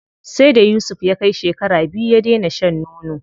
Sai da Yusuf ya kai shekara biyu ya dena shan nono.